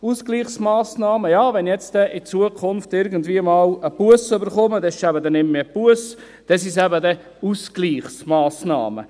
Ausgleichsmassnahmen: Wenn ich in Zukunft irgendwie eine Busse erhalte, dann ist es keine Busse mehr, sondern eine Ausgleichsmassnahme.